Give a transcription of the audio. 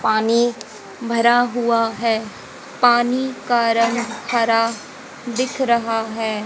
पानी भरा हुआ है पानी का रंग हरा दिख रहा है।